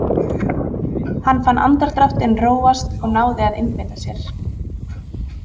Hann fann andardráttinn róast og náði að einbeita sér.